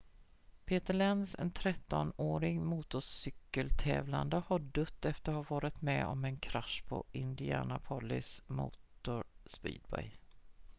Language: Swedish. peter lenz en 13-årig motorcykel-tävlande har dött efter att ha varit med om en krasch på indianapolis motor speedway